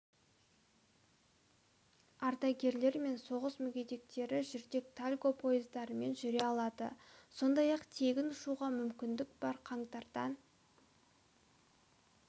ардагерлер мен соғыс мүгедектері жүрдек тальго пойыздарымен жүре алады сондай-ақ тегін ұшуға мүмкіндік бар қаңтардан